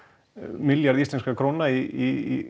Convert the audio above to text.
milljarð íslenskra króna í